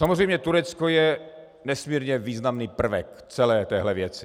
Samozřejmě Turecko je nesmírně významný prvek celé téhle věci.